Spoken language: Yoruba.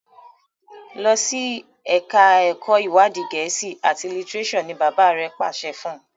Losi èka èko iwadi Gèésì at litireso! ní bàbá rẹ pàṣẹ fún.